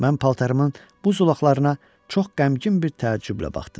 Mən paltarımın bu zolaqlarına çox qəmgin bir təəccüblə baxdım.